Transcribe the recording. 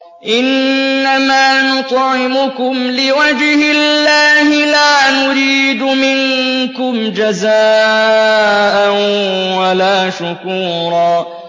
إِنَّمَا نُطْعِمُكُمْ لِوَجْهِ اللَّهِ لَا نُرِيدُ مِنكُمْ جَزَاءً وَلَا شُكُورًا